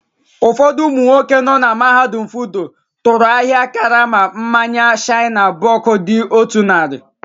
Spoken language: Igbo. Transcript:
Ụfọdụ ụmụ nwoke nọ na mahadum FUTO tụrụ ahịa karama mmanya shiner bock dị otú narị.